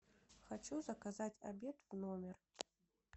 хочу заказать обед в номер